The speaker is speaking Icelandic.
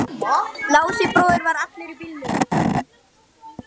Lási bróðir var allur í bílum.